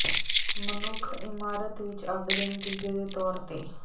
ਮਨੁੱਖ ਇਮਾਰਤ ਵਿੱਚ ਅੱਗ ਦੇ ਨਤੀਜੇ ਦੇ ਤੌਰ ਤੇ